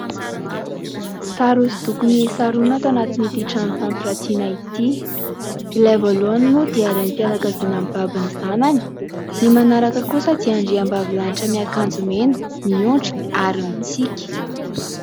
Sary hosodoko miisa roa no ato anatin'ity trano fampirantiana ity. Ilay voalohany moa dia Renim-pianakaviana mibaby ny zanany. Ny manaraka kosa dia andriambavilanitra miakanjo mena miondrika ary mitsiky.